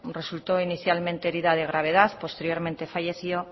resultó inicialmente herida de gravedad posteriormente falleció